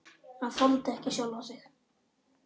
Hann þoldi ekki sjálfan sig.